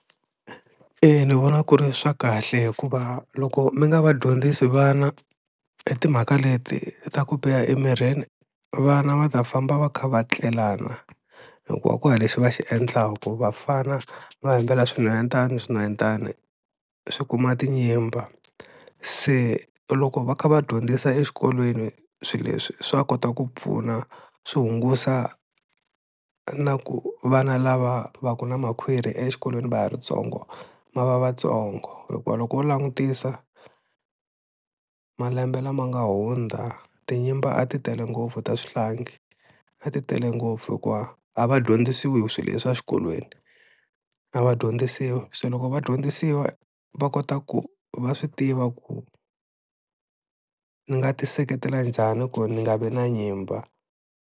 E ni vona ku ri swa kahle hikuva loko mi nga va dyondzisi vana hi timhaka leti ta ku biha emirini vana va ta famba va kha va tlelana hikuva ku ha lexi va xi endlaka, vafana va hembela swinhwanyetana, swinhwanyetana swi kuma tinyimba, se loko va kha va dyondzisa exikolweni swilo leswi swa kota ku pfuna swi hungusa na ku vana lava va ku na makhwiri exikolweni va ha ri ntsongo ma va vatsongo hikuva loko wo langutisa malembe lama nga hundza, tinyimba a ti tele ngopfu ta swihlangi a ti tele ngopfu hikuva a va dyondzisiwi hi swilo leswi exikolweni, a va dyondzisiwi se loko vadyondzisiwa va kota ku va swi tiva ku ni nga ti seketela njhani ku ni nga vi na nyimba.